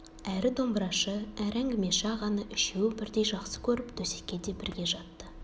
әрі домбырашы әрі әңгімеші ағаны үшеуі бірдей жақсы көріп төсекке де бірге жатты